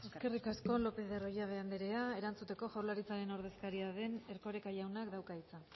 eskerrik asko lopez de arroyabe andrea erantzuteko jaurlaritzaren ordezkaria den erkoreka jaunak dauka hitza